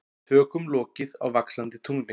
Tökum lokið á Vaxandi tungli